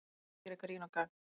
Vill gera grín og gagn